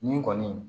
Nin kɔni